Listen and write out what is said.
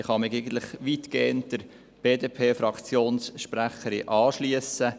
Ich kann mich der BDP-Fraktionssprecherin eigentlich weitgehend anschliessen.